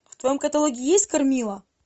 в твоем каталоге есть кармилла